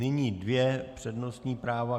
Nyní dvě přednostní práva.